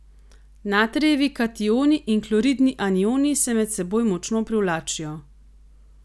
Natrijevi kationi in kloridni anioni se med seboj močno privlačijo.